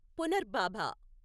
పునర్భాబ